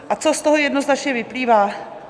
A co z toho jednoznačně vyplývá?